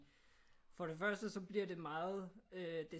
For det første så bliver det meget